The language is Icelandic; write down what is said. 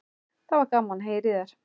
Það var gaman að heyra í þér.